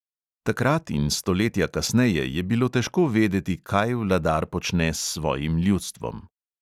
Takrat in stoletja kasneje je bilo težko vedeti, kaj vladar počne s svojim ljudstvom.